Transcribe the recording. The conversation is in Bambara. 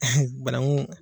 Bananku.